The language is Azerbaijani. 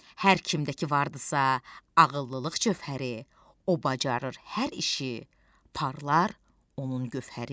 Hər kimdə ki vardisa ağıllılıq cövhəri, o bacarır hər işi, parlar onun cövhəri.